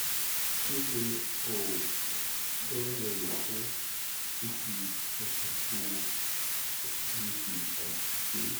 kí ni oògùn tí wọ́n lè lò fún fífi ẹsẹ̀ wúwo àti fífi àìsàn ṣe é?